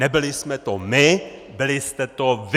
Nebyli jsme to my, byli jste to vy!